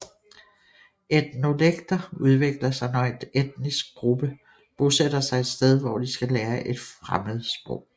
Etnolekter udvikler sig når en etnisk gruppe bosætter sig et sted hvor de skal lære et fremmedsprog